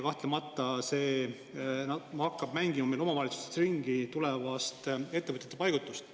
Kahtlemata hakkab see tulevikus ringi mängima omavalitsustes ettevõtjate paigutust.